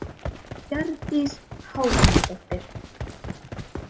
Hjördís Hákonardóttir.